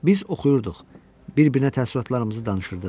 Biz oxuyurduq, bir-birinə təəssüratlarımızı danışırdıq.